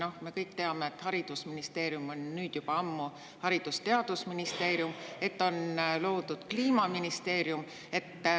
Noh, me kõik teame, et haridusministeerium on juba ammu Haridus- ja Teadusministeerium ja et on loodud Kliimaministeerium.